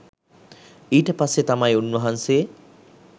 ඊට පස්සේ තමයි උන්වහන්සේ